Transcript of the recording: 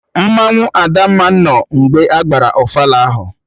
Mmanwụ Adamma nọ mgbe agbara ofala ahụ